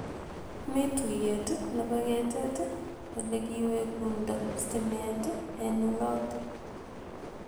Mii tuyeet nepo ketet olekiwegundoo stimeet en olotn